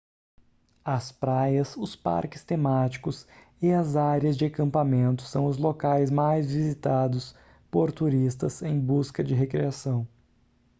as praias os parques temáticos e as áreas de acampamento são os locais mais visitados por turistas em busca de recreação